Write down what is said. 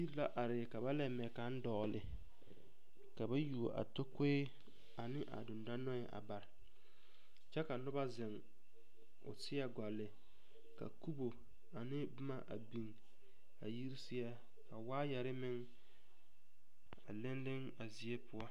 Yiri la are ka ba la mɛ kaŋ dɔɔle ka ba yuo a takoe a ne a dendɔnɔɛ a bare kyɛ ka noba zeŋ o seɛ gɔlle ka kubo ane boma a biŋ a yiri seɛ ka waayɛre meŋ a leŋ leŋ a zie poɔ.